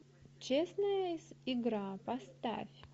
честная игра поставь